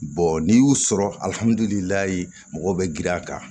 n'i y'u sɔrɔ mɔgɔw bɛ girin a kan